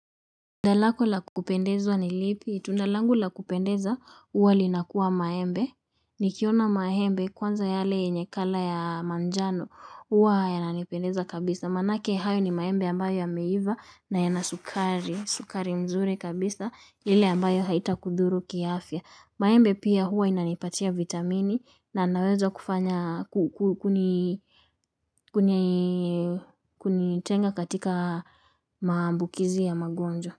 Tundalako lakupendeza ni lipi. Tundalangu lakupendeza huwa linakuwa maembe. Nikiona maembe kwanza yale yenyekala ya manjano huwa yananipendeza kabisa. Maanake hayo ni maembe ambayo ya meiva na yanasukari. Sukari mzuri kabisa ile ambayo haita kudhuru kiafya. Maembe pia huwa inanipatia vitamini na naweza kufanya kunitenga katika maambukizi ya magonjwa.